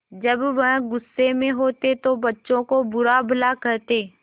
जब वह गुस्से में होते तो बच्चों को बुरा भला कहते